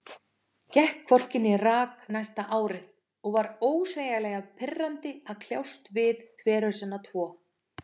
Gekk hvorki né rak næsta árið, og var ósegjanlega pirrandi að kljást við þverhausana tvo.